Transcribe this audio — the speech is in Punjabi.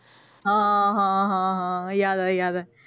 ਹਾਂ ਹਾਂ ਹਾਂ ਹਾਂ ਯਾਦ ਆਇਆ ਯਾਦ ਆਇਆ